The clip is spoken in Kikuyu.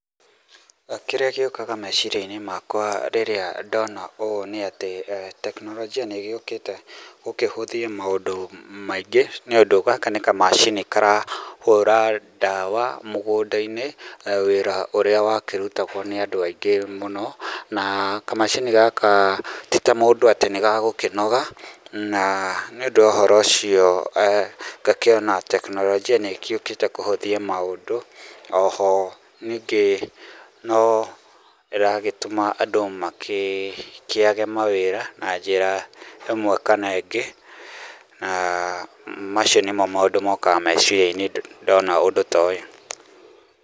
Kĩrĩa gĩũkaga meciria-inĩ makwa rĩrĩa ndona ũũ nĩ atĩ, teknologia nĩ ĩgĩũkĩte gũkĩhũthia maũndũ maingĩ nĩũndũ gaka nĩ kamacini karahũra dawa mũgũnda-inĩ, wĩra ũrĩa wakĩrutagwo nĩ andũ aingĩ mũno, na kamacini gaka ti ta mũndũ atĩ nĩ gagũkĩnoga na, nĩ ũndũ wa ũhoro ũcio ngakĩona teknologia nĩĩgĩũkĩte kũhũthia maũndũ, o ho ningĩ no ĩragĩtũma andũ makĩage mawĩra na njĩra ĩmwe kana ĩngĩ, na macio nĩmo maũndũ mokaga meciria-inĩ ndona ũndũ ta ũyũ.